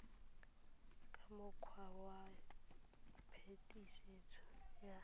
ka mokgwa wa phetisetso ya